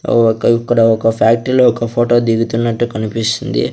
ఔ ఒక ఇక్కడ ఒక ఫ్యాక్టరీలో ఒక ఫొటో దిగుతున్నట్టు కనిపిస్తుంది.